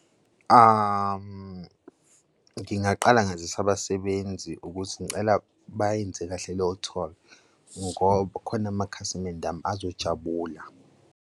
Ngingaqala ngazise abasebenzi ukuze ngicela bayenze kahle loyo-tour ngoba kukhona amakhasimende ami ezojabula.